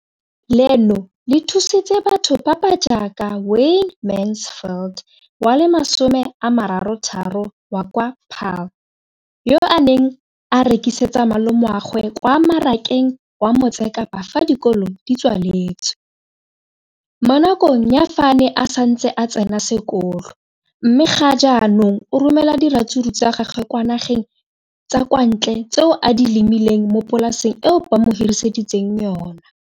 leno le thusitse batho ba ba jaaka Wayne Mansfield, 33, wa kwa Paarl, yo a neng a rekisetsa malomagwe kwa Marakeng wa Motsekapa fa dikolo di tswaletse, mo nakong ya fa a ne a santse a tsena sekolo, mme ga jaanong o romela diratsuru tsa gagwe kwa dinageng tsa kwa ntle tseo a di lemileng mo polaseng eo ba mo hiriseditseng yona.